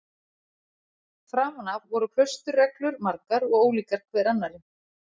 Framan af voru klausturreglur margar og ólíkar hver annarri.